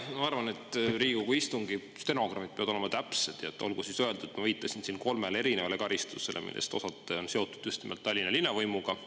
Ma arvan, et Riigikogu istungi stenogrammid peavad olema täpsed, ja olgu siis öeldud, ma viitasin siin kolmele erinevale karistusele, millest osad on seotud just nimelt Tallinna linna võimuga.